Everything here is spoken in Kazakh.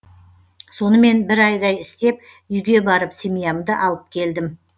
сонымен бір айдай істеп үйге барып семьямды алып келдім